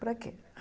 Para quê?